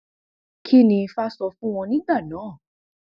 kín ni ifá sọ fún wọn nígbà náà